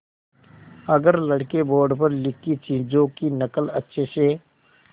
अगर लड़के बोर्ड पर लिखी चीज़ों की नकल अच्छे से